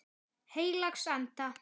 Heilags Anda.